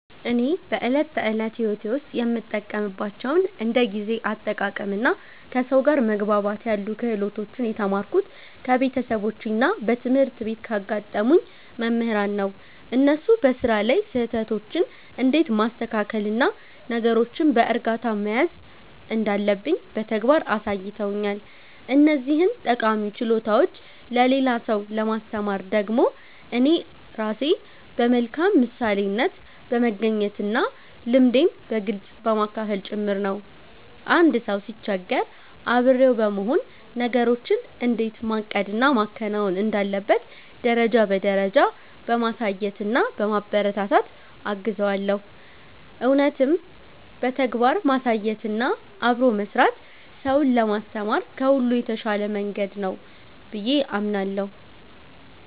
እኔ በዕለት ተዕለት ሕይወቴ ውስጥ የምጠቀምባቸውን እንደ ጊዜ አጠቃቀምና ከሰው ጋር መግባባት ያሉ ክህሎቶችን የተማርኩት ከቤተሰቦቼና በትምህርት ቤት ካጋጠሙኝ መምህራን ነው። እነሱ በሥራ ላይ ስህተቶችን እንዴት ማስተካከልና ነገሮችን በዕርጋታ መያዝ እንዳለብኝ በተግባር አሳይተውኛል። እነዚህን ጠቃሚ ችሎታዎች ለሌላ ሰው ለማስተማር ደግሞ እኔ ራሴ በመልካም ምሳሌነት በመገኘትና ልምዴን በግልጽ በማካፈል ጭምር ነው። አንድ ሰው ሲቸገር አብሬው በመሆን፣ ነገሮችን እንዴት ማቀድና ማከናወን እንዳለበት ደረጃ በደረጃ በማሳየትና በማበረታታት እገዘዋለሁ። እውነትም በተግባር ማሳየትና አብሮ መሥራት ሰውን ለማስተማር ከሁሉ የተሻለ መንገድ ነው ብዬ አምናለሁ።